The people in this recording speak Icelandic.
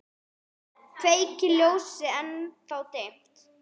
Kveiki ljósið, ennþá dimmt.